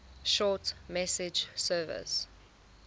short message service